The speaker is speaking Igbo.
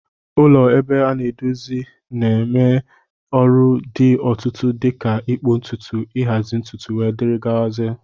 Ụlọ ebe a na-edozi na-eme ọrụ dị otụtụ dika ịkpụ ntutu, nhazi ntutu wdg.